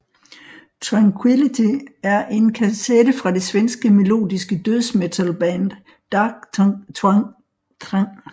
Tranquillity er en kasette fra det svenske melodiske dødsmetalband Dark Tranquillity der blev udgivet i 1993